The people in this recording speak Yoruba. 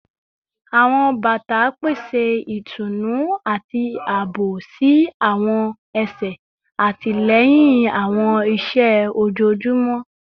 Awọn bata pese itunu ati aabo si awọn ẹsẹ, atilẹyin awọn iṣẹ ojoojumọ